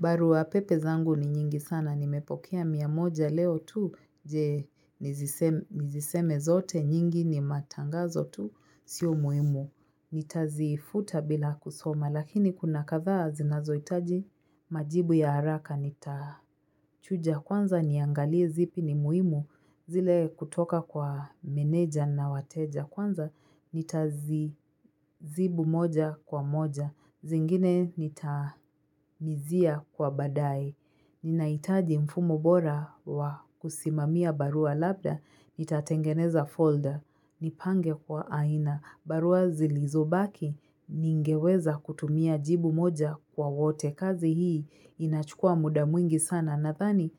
Barua pepe zangu ni nyingi sana, nimepokea mia moja leo tu, je niziseme zote nyingi ni matangazo tu, sio muhimu. Nitazifuta bila kusoma, lakini kuna kadhaa zinazoitaji majibu ya haraka nitachuja. Kwanza niangalie zipi ni muimu zile kutoka kwa meneja na wateja. Kwanza nitazibu moja kwa moja. Zingine nitamizia kwa baadaye Ninaitaji mfumo bora wa kusimamia barua labda. Nitatengeneza folder. Nipange kwa aina. Barua zilizobaki. Ningeweza kutumia jibu moja kwa wote. Kazi hii inachukua muda mwingi sana. Nadhani,